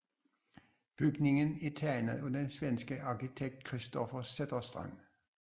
Bygningen er tegnet af den svenske arkitekt Kristoffer Zetterstrand